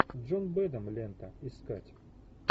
джон бэдэм лента искать